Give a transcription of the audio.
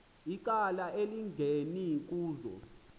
icala elingeni kuzo